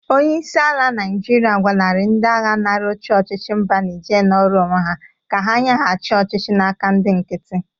Onyeisi ala Naịjịrịa gwalarị ndị-agha nara oche ọchịchị mba Nije nọrọ onwe ya ka ha nyegachi ọchịchị n'aka ndị nkiti.